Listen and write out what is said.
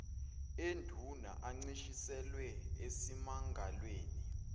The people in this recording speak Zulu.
enduna ancishiselwe esimangalweni